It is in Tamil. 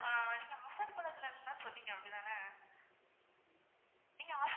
ஆஹ் நீங்க offer குள்ள இருகரதுதான சொன்னிங்க அப்படித்தான? நீங்க offer